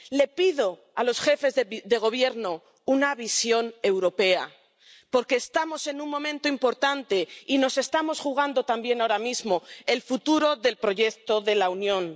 Le pido a los jefes de Gobierno una visión europea, porque estamos en un momento importante y nos estamos jugando también ahora mismo el futuro del proyecto de la Unión.